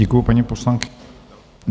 Děkuji, paní poslankyně.